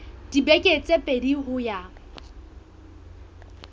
dibeke tse pedi ho ya